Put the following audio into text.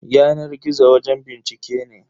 Yanar gizo wajen bincike ne.